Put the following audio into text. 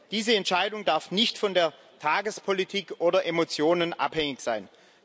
Diese Entscheidung darf nicht von der Tagespolitik oder Emotionen abhängig sein.